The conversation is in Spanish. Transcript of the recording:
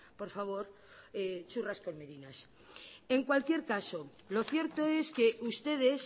por favor churras con merinas en cualquier caso lo cierto es que ustedes